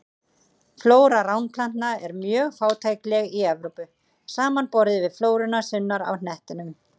Flóra ránplantna er mjög fátækleg í Evrópu, samanborið við flóruna sunnar á hnettinum.